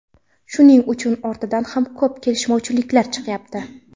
Shuning ortidan ham ko‘p kelishmovchiliklar chiqyapti.